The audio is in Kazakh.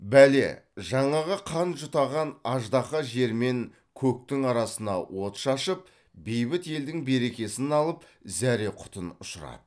бәле жаңағы қан жұтаған аждаһа жермен көктің арасына от шашып бейбіт елдің берекесін алып зәре құтын ұшырады